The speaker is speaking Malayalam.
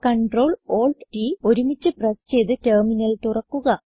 Ctrl Alt T ഒരുമിച്ച് പ്രസ് ചെയ്ത് ടെർമിനൽ തുറക്കുക